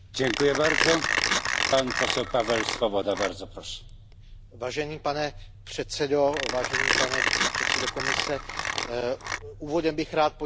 Úvodem bych rád poděkoval kolegům z Výboru pro právní záležitosti, kteří se podíleli na tomto návrhu, především panu Cavadovi.